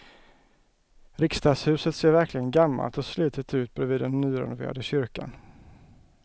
Riksdagshuset ser verkligen gammalt och slitet ut bredvid den nyrenoverade kyrkan.